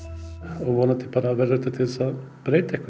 og vonandi verður þetta til þess að breyta einhverju